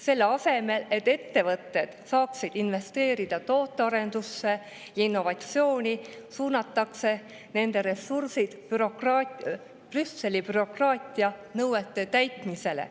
Selle asemel, et ettevõtted saaksid investeerida tootearendusse ja innovatsiooni, suunatakse nende ressursid Brüsseli bürokraatianõuete täitmisesse.